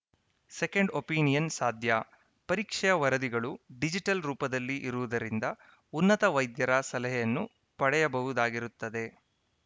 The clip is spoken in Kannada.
ಸೆಕೆಂಡ್‌ ಒಪಿನಿಯನ್‌ ಸಾಧ್ಯ ಪರೀಕ್ಷೆಯ ವರದಿಗಳು ಡಿಜಿಟಲ್‌ ರೂಪದಲ್ಲಿ ಇರುವುದರಿಂದ ಉನ್ನತ ವೈದ್ಯರ ಸಲಹೆಯನ್ನೂ ಪಡೆಯಬಹುದಾಗಿರುತ್ತದೆ